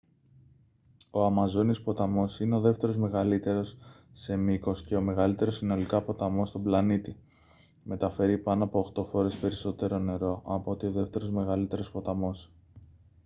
ο αμαζόνιος ποταμός είναι ο δεύτερος μεγαλύτερος σε μήκος και ο μεγαλύτερος συνολικά ποταμός στον πλανήτη. μεταφέρει πάνω από 8 φορές περισσότερο νερό από ό,τι ο δεύτερος μεγαλύτερος ποταμός